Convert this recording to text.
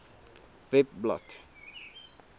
webblad